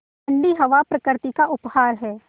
ठण्डी हवा प्रकृति का उपहार है